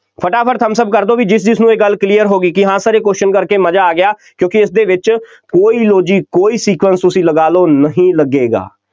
ਫਟਾ ਫਟ thumps up ਕਰ ਦਿਓ ਬਈ ਜਿਸ ਜਿਸਨੂੰ ਇਹ ਗੱਲ clear ਹੋ ਗਈ ਕਿ ਹਾਂ Sir ਇਹ question ਕਰਕੇ ਮਜ਼ਾ ਆ ਗਿਆ, ਕਿਉਂਕਿ ਇਸਦੇ ਵਿੱਚ ਕੋਈ logic ਕੋਈ sequence ਤੁਸੀਂ ਲਗਾ ਲਓ, ਨਹੀਂ ਲੱਗੇਗਾ,